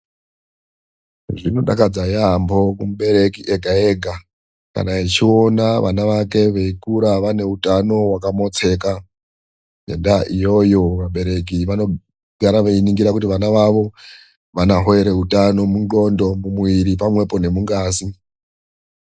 Zvinodakadza yaambo kumubereki ega ega. Kana echiona vana vake veikura vaineutano wakamotseka. Ngendaa iyoyo, vabereki vanogara veiningira kuti vana vavo vanohoere utano munthondo pamwepo nemungazi.